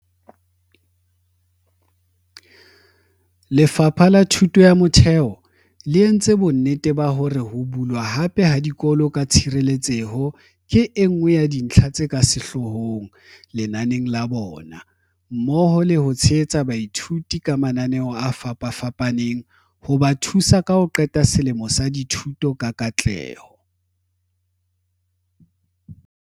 Lefapha la Thuto ya Motheo le entse bonnete ba hore ho bulwa hape ha dikolo ka tshireletseho ke enngwe ya dintlha tse ka sehloohong lenaneng la bona, mmoho le ho tshehetsa baithuti ka mananeo a fapafapaneng hoba thusa ho ka qeta selemo sa dithuto ka katleho.